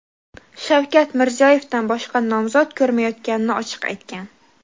Shavkat Mirziyoyevdan boshqa nomzod ko‘rmayotganini ochiq aytgan.